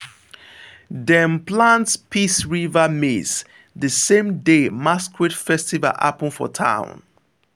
dem plant peace river maize the same day masquerade festival happen for town.